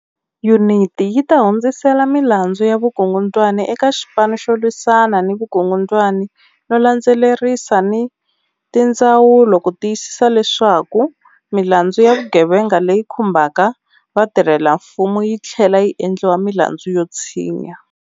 Yuniti yi ta hundzisela milandzu ya vukungundwani eka Xipanu xo Lwisana ni Vukungundwani no landze lerisa ni tindzawulo ku ti yisisa leswaku milandzu ya vugevenga leyi khumbaka vatirhelamfumo yi tlhlela yi endliwa milandzu yo tshinya.